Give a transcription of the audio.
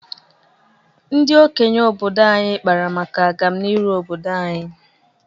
Ndị okenye obodo anyị kpara maka agamnihu obdodo anyị.